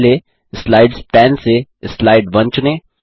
पहले slides pane से slide 1 चुनें